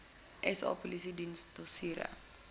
sa polisiediens dossiere